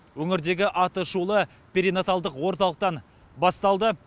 өңірдегі атышулы перинаталдық орталықтан басталды